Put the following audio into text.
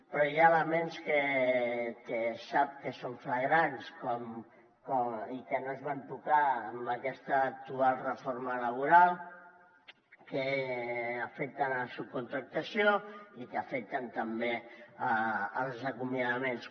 però hi ha elements que sap que són flagrants i que no es van tocar en aquesta actual reforma laboral que afecten la subcontractació i que afecten també els acomiadaments